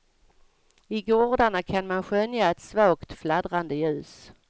I gårdarna kan man skönja ett svagt fladdrande ljus.